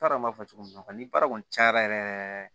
N t'a dɔn n b'a fɔ cogo min na ni baara kɔni cayara yɛrɛ yɛrɛ